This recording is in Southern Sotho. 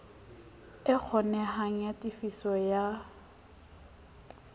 e kgonehang ya tefiso ya